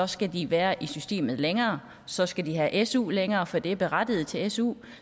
skal de være i systemet længere så skal de have su længere for de er berettiget til su